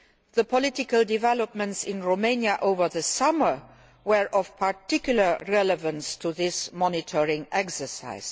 The political developments in Romania over the summer were of particular relevance to this monitoring exercise.